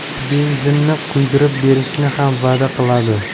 Benzinini quydirib berishni ham va’da qiladi.